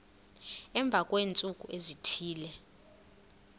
emva kweentsuku ezithile